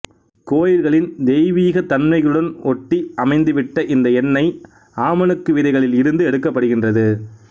கோயில்களின் தெய்வீகத் தன்மைகளுடன் ஒட்டி அமைந்துவிட்ட இந்த எண்ணெய் ஆமணக்கு விதைகளில் இருந்து எடுக்கப்படுகின்றது